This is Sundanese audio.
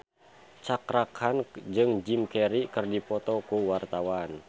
Cakra Khan jeung Jim Carey keur dipoto ku wartawan